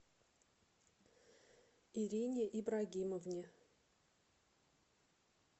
ирине ибрагимовне